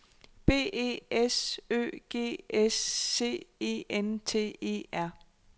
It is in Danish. B E S Ø G S C E N T E R